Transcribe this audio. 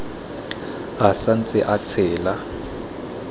a sa ntse a tshela